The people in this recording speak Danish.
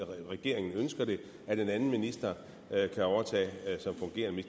regeringen ønsker det at en anden minister kan overtage som fungerende